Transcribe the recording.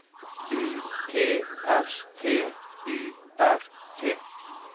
U T S T Y R T